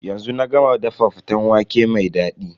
Yanzu na ga ma dafa faten waƙe mai dadi.